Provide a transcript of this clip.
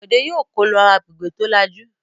Bọ̀dé yóò kó lọ agbègbè tó lajú!